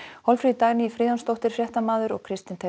Hólmfríður Dagný Friðjónsdóttir fréttamaður og Kristinn